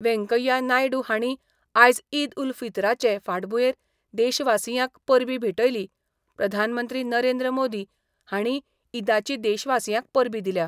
वेंकय्या नायडू हांणी आयज ईद उल फित्राचे फाटभुंयेर देशवासियांक परबी भेटयली प्रधानमंत्री नरेंद्र मोदी हांणीय ईदाची देशवासियांक परबी दिल्या.